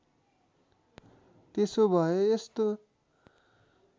त्यसो भए यस्तो